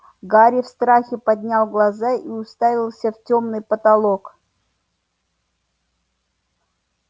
гарри в страхе поднял глаза и уставился в тёмный потолок